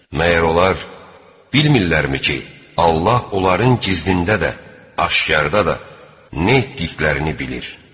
Məgər onlar bilmirlərmi ki, Allah onların gizlində də, aşkarda da nə etdiklərini bilir?